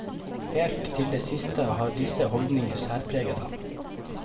Helt til det siste har disse holdninger særpreget ham.